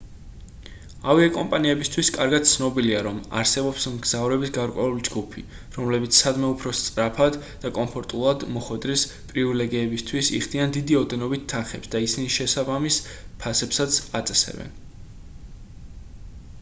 ავიაკომპანიებისთვის კარგად ცნობილია რომ არსებობს მგზავრების გარკვეული ჯგუფი რომლებიც სადმე უფრო სწრაფად და კომფორტულად მოხვედრის პრივილეგიისთვის იხდიან დიდი ოდენობით თანხებს და ისინი შესაბამის ფასებსაც აწესებენ